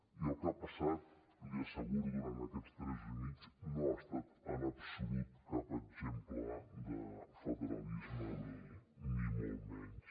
i el que ha passat li asseguro durant aquests tres mesos i mig no ha estat en absolut cap exemple de federalisme ni molt menys